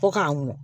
Fo k'a ŋunu